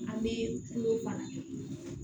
An bɛ kulo baara kɛ